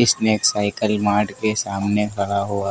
इसने एक cycle mart के सामने खड़ा हुआ --